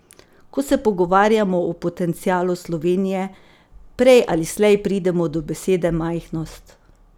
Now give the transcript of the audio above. Ko se pogovarjamo o potencialu Slovenije, prej ali slej pridemo do besede majhnost.